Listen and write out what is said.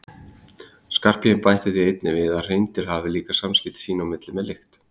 Skarphéðinn bætti því einnig við að hreindýr hafi líka samskipti sín á milli með lykt.